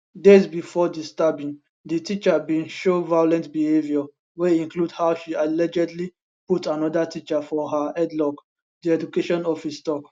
days bifor di stabbing di teacher bin show violent behaviour wey include how she allegedly put anoda teacher for her headlock di education office tok